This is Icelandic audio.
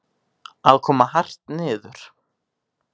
Að koma hart niður